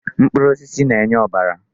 Mkpụrụ osisi na-enye ọbara.